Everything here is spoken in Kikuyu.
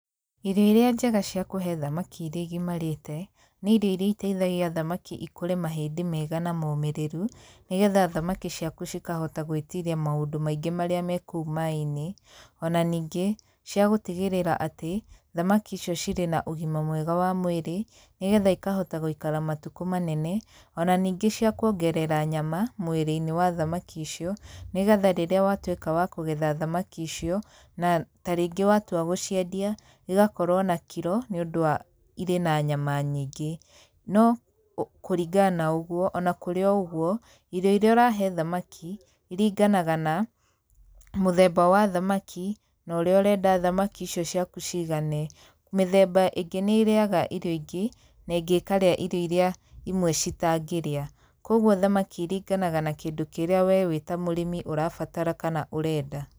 Irio iria njega cia kũhe thamaki irĩa igimarĩte, nĩ irio iria iteithagia thamaki ikũre mahĩndĩ mega na momĩrĩru, nĩ getha thamaki ciaku cikahota gwĩtiria maũndũ maingĩ marĩa me kũu maĩ-inĩ, ona ningĩ, cia gũtigĩrĩra atĩ, thamaki icio cirĩ na ũgima mwega wa mwĩrĩ, nĩ getha ikahota gũikara matukũ manene, ona ningĩ cia kuongerera nyama mwĩrĩ-inĩ wa thamaki icio, nĩ getha rĩrĩa watuĩka wa kũgetha thamaki icio na tarĩngĩ watua gũciendia, igakorwo na kiro nĩ ũndũ wa irĩ na nyama nyingĩ. No kũringana na ũguo, ona kũrĩ o ũguo, irio irĩa ũrahe thamaki, iringanaga na, mũthemba wa thamaki, na ũrĩa ũrenda thamaki icio ciaku ciigane, mĩthemba ĩngĩ nĩ ĩrĩaga irio ingĩ na ĩngĩ ĩkarĩa irio irĩa imwe citangĩrĩa. Kũguo thamaki iringanaga na kĩndũ kĩrĩa we wĩ ta mũrĩmi ũrabatara kana ũrenda.